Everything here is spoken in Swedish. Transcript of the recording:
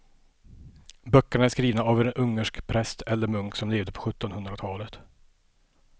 Böckerna är skrivna av en ungersk präst eller munk som levde på sjuttonhundratalet.